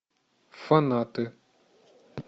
фанаты